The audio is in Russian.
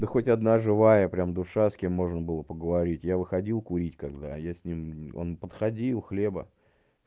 да хоть одна живая прямо душа с кем можно было поговорить я выходил курить когда я с ним он подходил хлеба